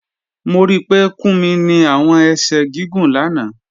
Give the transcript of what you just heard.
Mo rí pé Kúmí ni awọn èṣẹ̀ gígùn lána